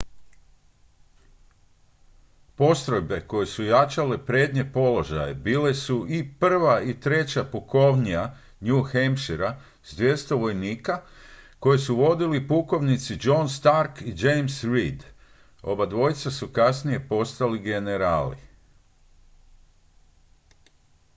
postrojbe koje su jačale prednje položaje bile su i 1. i 3. pukovnija new hampshirea s 200 vojnika koje su vodili pukovnici john stark i james reed obojica su kasnije postali generali